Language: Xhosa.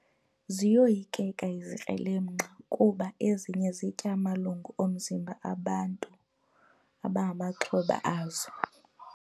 Ziyoyikeka izikrelemnqa kuba ezinye zitya amalungu omzimba abantu abangamaxhoba azo.